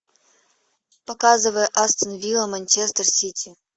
показывай астон вилла манчестер сити